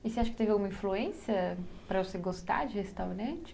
E você acha que teve alguma influência para você gostar de restaurante?